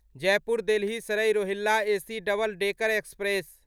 Jaipur Delhi Sarai Rohilla AC double decker express